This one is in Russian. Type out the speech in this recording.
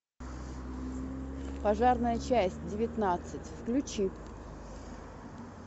пожарная часть девятнадцать включи